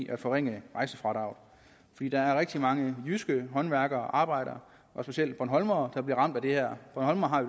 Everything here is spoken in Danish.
at forringe rejsefradraget fordi der er rigtig mange jyske håndværkere og arbejdere og specielt bornholmere der bliver ramt af det her bornholmere har